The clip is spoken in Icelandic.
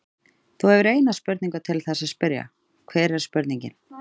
Þú hefur eina spurningu til þess að spyrja, hver er spurningin?